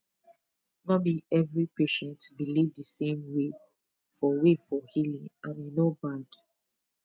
no be every patient believe the same way for way for healing and e no bad